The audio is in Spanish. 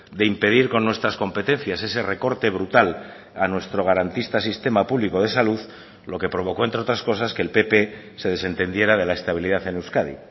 de impedir con nuestras competencias ese recorte brutal a nuestro garantista sistema público de salud lo que provocó entre otras cosas que el pp se desentendiera de la estabilidad en euskadi